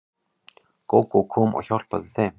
Gógó kom og hjálpaði þeim.